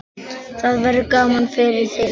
Það verður gaman fyrir þig.